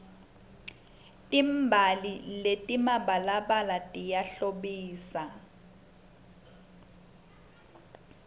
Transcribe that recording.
timbali letimabalabala tiyahlobisa